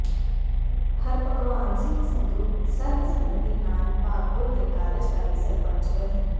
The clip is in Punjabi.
ਹਰਭਗਵਾਨ ਸਿੰਘ ਸੰਧੂ ਸਰਬਸੰਮਤੀ ਨਾਲ ਭਾਗਪੁਰ ਦੇ ਕਾਰਜਕਾਰੀ ਸਰਪੰਚ ਬਣੇ